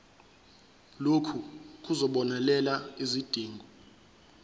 lokhu kuzobonelela izidingo